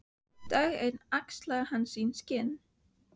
Dag einn axlaði hann sín skinn.